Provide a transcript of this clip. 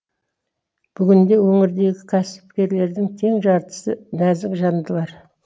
бүгінде өңірдегі кәсіпкерлердің тең жартысы нәзік жандылар